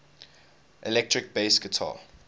electric bass guitar